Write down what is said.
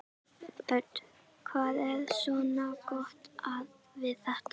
Hödd: Hvað er svona gott við þetta?